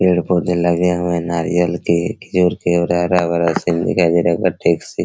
पेड़-पौधे लगे हुए हैं नारियल के खजूर के और हरा-भरा सीन दिखाई दे रहा है--